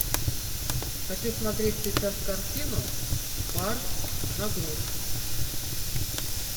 хочу смотреть сейчас картину бар на грудь